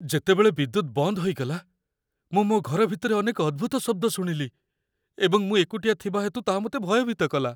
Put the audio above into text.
ଯେତେବେଳେ ବିଦ୍ୟୁତ ବନ୍ଦ ହୋଇଗଲା, ମୁଁ ମୋ ଘର ଭିତରେ ଅନେକ ଅଦ୍ଭୁତ ଶବ୍ଦ ଶୁଣିଲି ଏବଂ ମୁଁ ଏକୁଟିଆ ଥିବା ହେତୁ ତାହା ମୋତେ ଭୟଭୀତ କଲା।